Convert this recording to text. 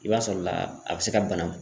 I b'a sɔrɔ la a bɛ se ka bana.